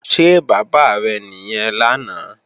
Ṣé bàbá rẹ̀ nìyẹn lánàá?